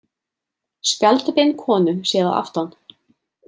Spjaldbein konu séð að aftan.